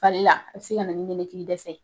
Fari la, a be se ka na ni nɛnɛkili dɛsɛ ye.